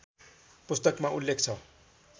पुस्तकमा उल्लेख छ